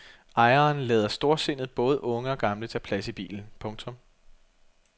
Ejeren lader storsindet både unge og gamle tage plads i bilen. punktum